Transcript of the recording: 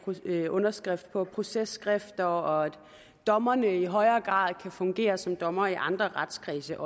underskrift på processkrifter og at dommerne i højere grad kan fungere som dommere i andre retskredse